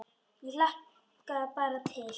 Ég hlakka bara til.